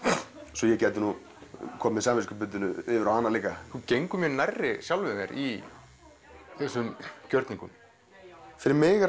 svo ég gæti komið samviskubitinu yfir á hana líka þú gengur mjög nærri sjálfum þér í þessum gjörningum fyrir mig er